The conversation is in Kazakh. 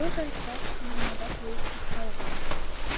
бұл жайттар шығармада толық сақталған